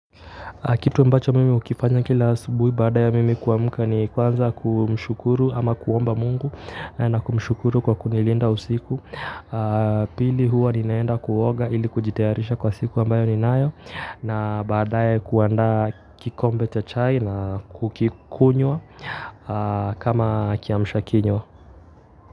Kitu ambacho mimi hukifanya kila asubuhi baada ya mimi kuamka ni kwanza kumshukuru ama kuomba Mungu na kumshukuru kwa kunilinda usiku. Pili huwa ninaenda kuoga ili kujitayarisha kwa siku ambayo ninayo na baadaye kuanda kikombe cha chai na kukikunywa kama kiamshakinywa.